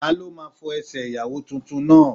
Ta ló máa fọ Ẹsẹ̀ Ìyàwó tuntun náà?